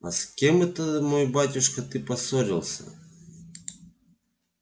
а с кем это мой батюшка ты поссорился